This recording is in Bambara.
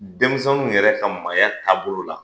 Denmisɛnninw yɛrɛ ka maaya taabolo la